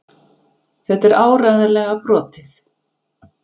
Þetta er áreiðanlega brotið.